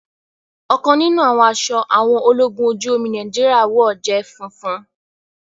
ọkan níní àwọn aṣọ àwọn ológun ojú omi Nàìjíríà wọ jé funfun.